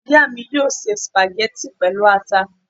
Ìyá mi yóò se sùpàgẹ́tì pẹ̀lú ata